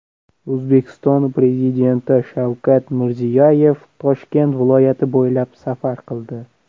O‘zbekiston Prezidenti Shavkat Mirziyoyev Toshkent viloyati bo‘ylab safar qildi.